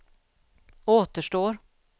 återstår